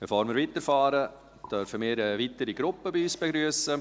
Bevor wir weiterfahren, dürfen wir eine weitere Gruppe bei uns begrüssen.